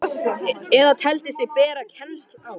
eða teldi sig bera kennsl á.